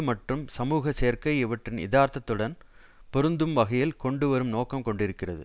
மற்றும் சமூக சேர்க்கை இவற்றின் யதார்த்தத்துடன் பொருந்தும் வகையில் கொண்டு வரும் நோக்கம் கொண்டிருக்கிறது